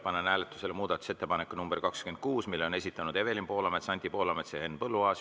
Panen hääletusele muudatusettepaneku nr 27, mille on esitanud Evelin Poolamets, Anti Poolamets, Henn Põlluaas.